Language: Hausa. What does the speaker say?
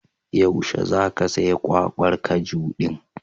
Yaushe za ka saya kwakwar kaju din?